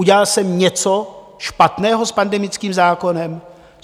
Udělal jsem něco špatného s pandemickým zákonem?